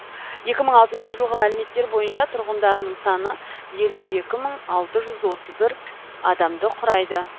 екі мың алтыншы жылғы мәліметтер бойынша тұрғындарының саны елу екі мың алты жүз отыз бір адамды құрайды